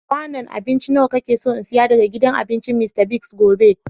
Kwanun abinci nawa ka na so n'siya daga gidan abincin Mr. Biggs gobe?